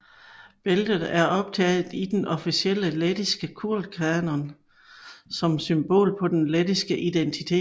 Bæltet er optaget i den officielle lettiske kulturkanon som symbol på den lettiske identitet